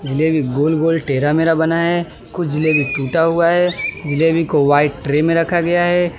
जलेबी गोल गोल टेढ़ा मेढ़ा बनाया है कुछ जलेबी टूटा हुआ है जलेबी को व्हाइट ट्रे में रखा गया है।